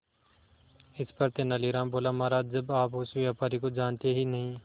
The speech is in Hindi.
इस पर तेनालीराम बोला महाराज जब आप उस व्यापारी को जानते ही नहीं